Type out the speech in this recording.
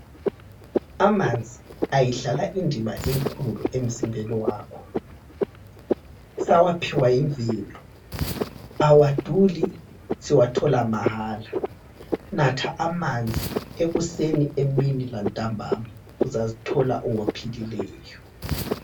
Amanzi ayidlala indima enkulu emzimbeni wakho. Sawaphiwa yimvelo, awaduli siwathola mahala. Natha amanzi ekuseni, emini lantambama. Uzazithola ungophilileyo.